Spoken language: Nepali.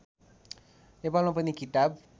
नेपालमा पनि किताब